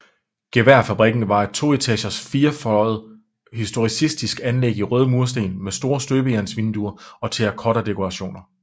Geværfabrikken var et toetages firfløjet historicistisk anlæg i røde mursten med store støbejernsvinduer og terracottadekorationer